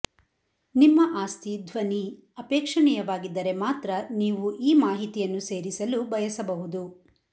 ನಿಮ್ಮ ಆಸ್ತಿ ಧ್ವನಿ ಅಪೇಕ್ಷಣೀಯವಾಗಿದ್ದರೆ ಮಾತ್ರ ನೀವು ಈ ಮಾಹಿತಿಯನ್ನು ಸೇರಿಸಲು ಬಯಸಬಹುದು